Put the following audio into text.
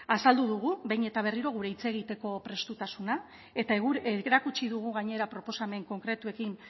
azaldu dugu behin eta berriro gure hitz egiteko prestutasuna eta erakutsi dugu gainera proposamen konkretuekin